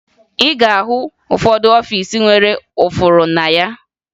Ị ga-ahụ ụfọdụ ọfiisi nwere ụfụrụ na ya